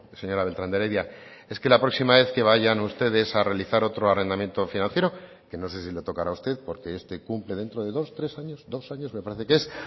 señora beltrán de heredia es que la próxima vez que vayan ustedes a realizar otro arrendamiento financiero que no sé si le tocará a usted porque este cumple dentro de dos tres años dos años me parece que es